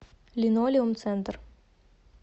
линолеум центр